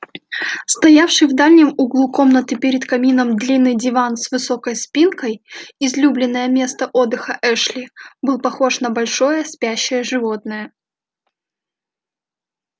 стоявший в дальнем углу комнаты перед камином длинный диван с высокой спинкой излюбленное место отдыха эшли был похож на большое спящее животное